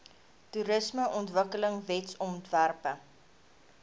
toerismeontwikkelingwetsontwerpe